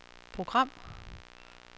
program